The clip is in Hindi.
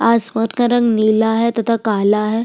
आसमत का रंग नीला है तथा काला है।